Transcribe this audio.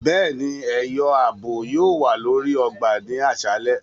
Béèni, ẹyọ ààbò yóò wa lórí ọgbà ni aṣalẹ